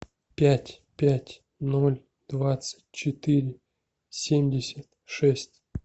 пять пять ноль двадцать четыре семьдесят шесть